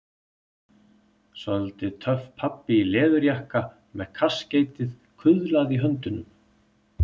Soldið töff pabbi í leðurjakka með kaskeitið kuðlað í höndunum.